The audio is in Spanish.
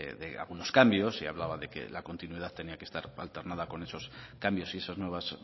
de algunos cambios y hablaba de que la continuidad tenía que estar alternada con esos cambios y esas nuevas